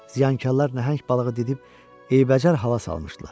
Ziyankarlar nəhəng balığı didib eybəcər hala salmışdılar.